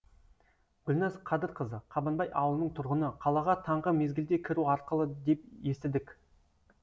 гүлназ қадырқызы қабанбай ауылының тұрғыны қалаға таңғы мезгілде кіру ақылы деп естідік